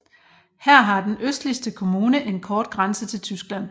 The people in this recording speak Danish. Her har den østligste kommune en kort grænse til Tyskland